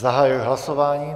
Zahajuji hlasování.